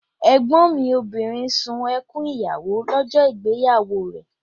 Ẹ̀gbọ́n mi obìnrin sun ẹkún ìyàwó lọ́jọ́ ìgbéyàwó rẹ̀